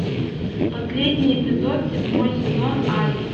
последний эпизод седьмой сезон альф